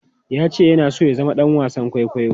Ya ce yana so ya zama ɗan wasan kwaikwayo.